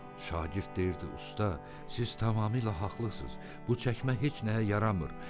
Şagird deyirdi usta, siz tamamilə haqlısız, bu çəkmə heç nəyə yaramır.